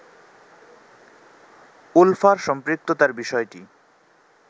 উলফার সম্পৃক্ততার বিষয়টি